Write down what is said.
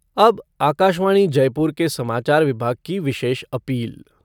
अब आकाशवाणी जयपुर के समाचार विभाग की विशेष अपील।